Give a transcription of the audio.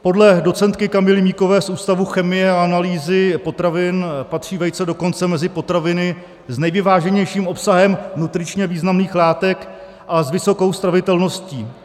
Podle docentky Kamily Míkové z Ústavu chemie a analýzy potravin patří vejce dokonce mezi potraviny s nejvyváženějším obsahem nutričně významných látek a s vysokou stravitelností.